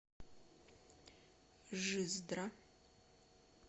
жиздра